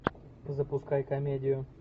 запускай комедию